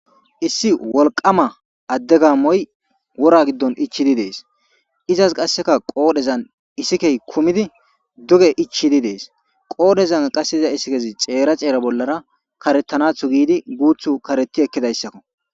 issi wolqama adde gamoy wora giddon ichidi dees izas qasseka qoodhezan isikey kumidi duge ichidi dees qoodhezan qass da issikezi ceera ceera bollara karetanathu giidi guuthu kareti ekkidayssakko